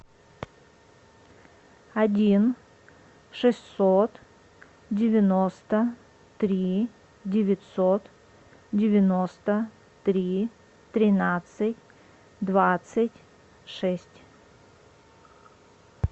один шестьсот девяносто три девятьсот девяносто три тринадцать двадцать шесть